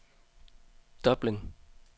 Dublin